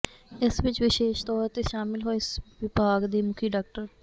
ਇਸ ਵਿੱਚ ਵਿਸ਼ੇਸ਼ ਤੌਰ ਤੇ ਸ਼ਾਮਿਲ ਹੋਏ ਵਿਭਾਗ ਦੇ ਮੁਖੀ ਡਾ